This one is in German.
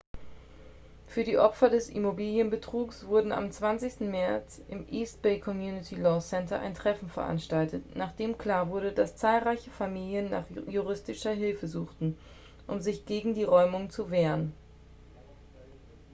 für die opfer des immobilienbetrugs wurde am 20. märz im east bay community law center ein treffen veranstaltet nachdem klar wurde dass zahlreiche familien nach juristischer hilfe suchten um sich gegen die räumungen zu wehren